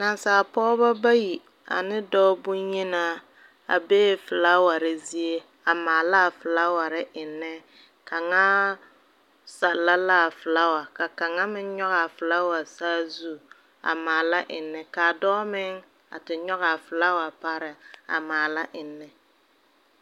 Naasaale pɔgebo bayi ne dɔɔ bonyinaa a bee flowers zie a maala a flower ennɛ kaŋa sɛllɛ la a flower kaŋa meŋ nyoŋ a flower saazu a maala ennɛ kaa dɔɔ meŋ a te nyoŋ a flower pareŋ a maala ennɛ.